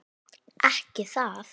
Ekki það?